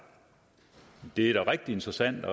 det er da rigtig interessant